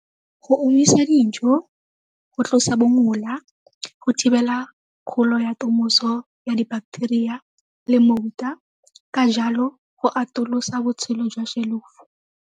Go omisa dijo, go tlosa bongola, go thibela kgolo ya ya di-bacteria le mofuta ka jalo go atolosa botshelo jwa shelofo.